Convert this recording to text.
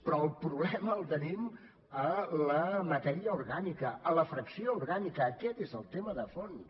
però el problema el tenim a la matèria orgànica a la fracció orgànica aquest és el tema de fons